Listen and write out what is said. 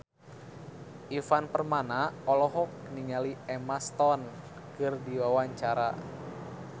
Ivan Permana olohok ningali Emma Stone keur diwawancara